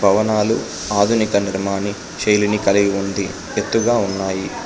భవనాలు ఆధునిక నిర్మాని శైలిని కలిగి ఉంది ఎత్తుగా ఉన్నాయి.